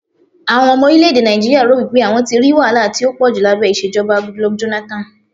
àwọn ọmọ orilẹ ède Naijiria ro wipe àwọn tí ri wahala ti a poju labẹ ìṣèjọba Goodluck Jonathan